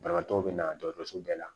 Banabaatɔ be na dɔgɔtɔrɔso bɛɛ la